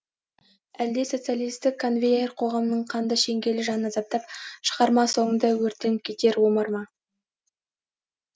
әлде социалистік конвейер қоғамның қанды шеңгелі жанын азаптап шығарма соңында өртеніп кетер омар ма